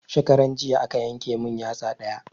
Shekaran jiya aka yanke mun yatsa ɗaya